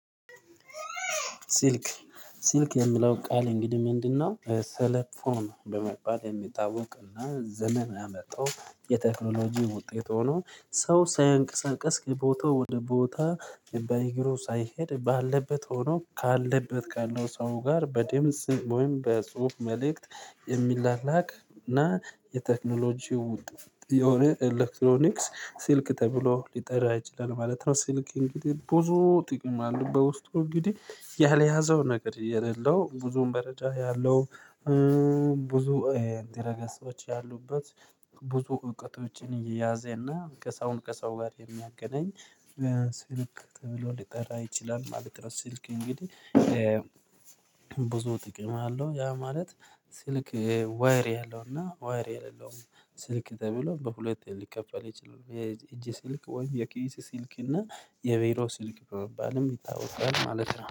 ሲልክ ሲልክ የሚለው ቃል እንግዲህ ምንድነው? ቴሌፎን በመባል የሚታወቅና ዘመን ያመጣው የቴክኖሎጂ ውጤት ሆኖ ሰው ሳያንቀሳቅስ ከቦታው ወደ ቦታ በእግሩ ሳይሄድ ባለበት ሆኖ ካለበት ካለው ሰው ጋር በድምጽ ወይም በጽሁፍ መልእክት የሚላላክ እና የቴክኖሎጂው የሆነ ኤሌክትሮኒክስ ስልክ ተብሎ ሊጠራ ይችላል ማለት ነው። ስልክ እንግዲህ ብዙ ጥቅም አለው። በውስጡ እንግዲህ ያልያዘው ነገር የሌለው ብዙም መረጃ ያለው። ብዙ ድረገጾች ያሉበት። ብዙ እውቀቶች የያዘና ሰውን ከሰው ጋር የሚያገናኝ። ስልክ ተብሎ ሊጠራ ይችላል ማለት። ስልክ እንግዲህ ብዙ ጥቅም አለው። ያ ማለት ስልክ ዋየር ያለው እና ዋየር የሌለው ስልክ ተብሎ በሁለት ሊከፈል ይችላል። የእጅ ስልክ ወይም የኪስ ስልክ እና የቢሮ ስልክ በመባልም ይታወቃል ማለት ነው